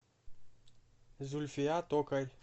зульфия токарь